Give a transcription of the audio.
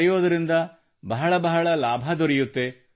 ಬರೆಯುವುದರಿಂದ ಬಹಳ ಬಹಳ ಲಾಭ ದೊರೆಯುತ್ತದೆ